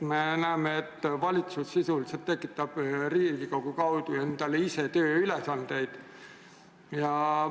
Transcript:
Me näeme, et valitsus sisuliselt tekitab Riigikogu kaudu endale ise tööülesandeid.